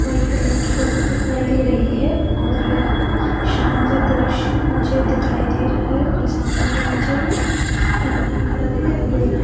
White colour की लगी दिखाई दे रही है और यह शाम का दृश्य मुझे दिखाई दे रहा है और सामने वो मुझे एक इंसान खड़ा दिखाई दे रहा।